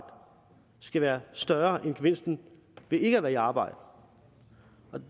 skal være større end gevinsten ved ikke at være i arbejde